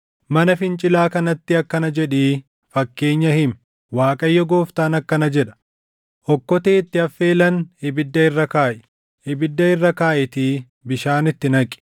Mana fincilaa kanatti akkana jedhii fakkeenya himi: ‘ Waaqayyo Gooftaan akkana jedha: “ ‘Okkotee itti affeelan ibidda irra kaaʼi; ibidda irra kaaʼiitii bishaan itti naqi.